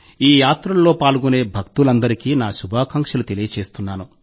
ఈ యాత్రల్లో పాల్గొనే భక్తులందరికీ నా శుభాకాంక్షలు తెలియజేస్తున్నాను